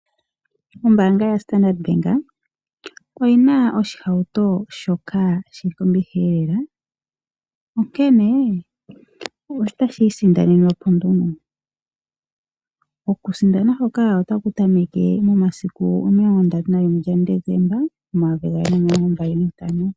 Ombaanga yaStandard bank oyina oshihauto shoka shili kombiliha lela onkene otashiisindanenwa po nduno. Okusindana otaku tameke momilongo ndatu nalimwe gaDesemba omayovi gaali nomilongo mbali nantano.